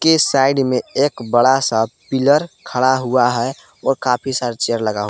के साइड में एक बड़ा सा पिलर खड़ा हुआ है और काफी सारे चेयर लगा --